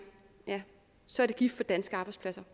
ja så er det gift for danske arbejdspladser